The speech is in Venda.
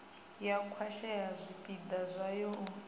ya khwashea zwipida zwavho u